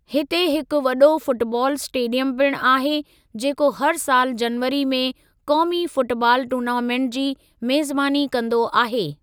हिते हिकु वॾो फ़ुटबाल इस्टेडियम पिणु आहे जेको हर सालु जनवरी में क़ौमी फ़ुटबाल टूर्नामेंट जी मेज़बानी कंदो आहे।